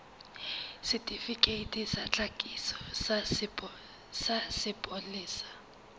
setifikeiti sa tlhakiso sa sepolesa